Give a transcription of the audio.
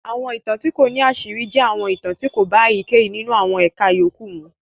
Àwọn ìtàn tí kò ní àṣírí jẹ́ àwọn ìtàn tí kò bá èyíkéyìí nínú àwọn ẹ̀ka yòókù mu.